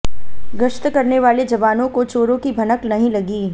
गश्त करने वाले जवानों को चोरों की भनक नहीं लगी